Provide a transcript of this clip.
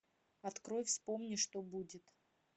открой вспомни что будет